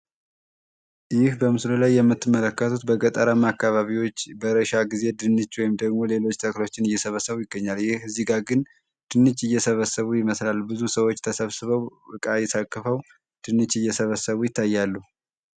ይህ በምስሉ ላይ የምትመለከቱት በገጠራማ አካባቢዎች በእርሻ ጊዜ ድንች እና ሰብሎንነ እየሰበሰቡ ይገኛሉ። ይህ እዚህ ላይ ግን ድንች እየሰበሰቡ ይመስላል። ብዙ ሰዎች ተሰብስበው እቃ ታቅፈው ድንችእየሰበሰቡ ይታያሉ።